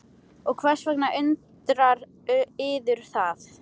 Og hvers vegna undrar yður það?